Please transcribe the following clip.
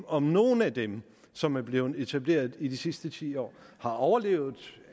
om nogle af dem som er blevet etableret i de sidste ti år har overlevet